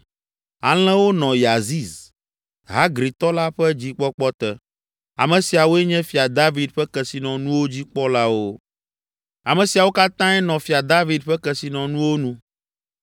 Alẽwo nɔ Yaziz, Hagritɔ la ƒe dzikpɔkpɔ te. Ame siawoe nye Fia David ƒe kesinɔnuwo dzikpɔlawo. Ame siawo katãe nɔ fia David ƒe kesinɔnuwo nu.